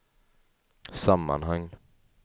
sammanhang